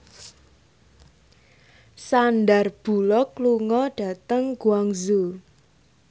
Sandar Bullock lunga dhateng Guangzhou